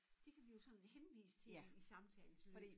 Det kan vi jo sådan henvise til i i samtalens løb